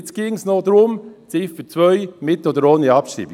Jetzt ginge es noch um die Ziffer 2, mit oder ohne Abschreibung.